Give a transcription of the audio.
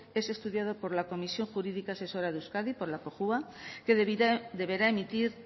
es estudiado por la comisión jurídica asesora de euskadi por la cojua que deberá emitir